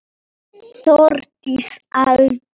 Þórdís Alda.